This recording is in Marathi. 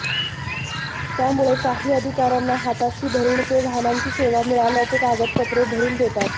त्यामुळे काही अधिकार्यांना हाताशी धरून ते वाहनांची सेवा मिळाल्याचे कागदपत्रे भरून देतात